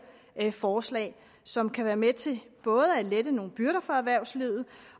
forslag som kan være med til både at lette nogle byrder for erhvervslivet